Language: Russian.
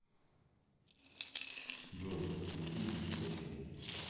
джой ютуб блестящие